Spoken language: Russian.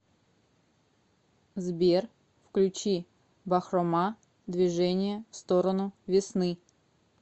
сбер включи бахрома движение в сторону весны